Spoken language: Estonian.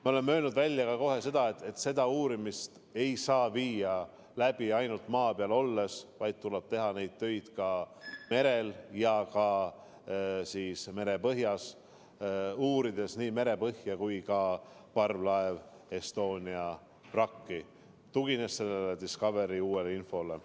Me oleme kohe öelnud välja ka selle, et seda uurimist ei saa läbi viia ainult maa peal olles, vaid töid tuleb teha ka merel ja merepõhjas, uurides nii merepõhja kui ka parvlaev Estonia vrakki, tuginedes Discovery uuele infole.